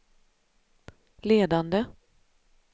ledande